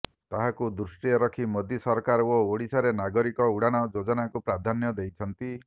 ତାହାକୁ ଦୃଷ୍ଟିରେ ରଖି ମୋଦୀ ସରକାର ଓଡ଼ିଶାରେ ନାଗରିକ ଉଡ଼ାଣ ଯୋଜନାକୁ ପ୍ରାଧାନ୍ୟ ଦେଇଛନ୍ତି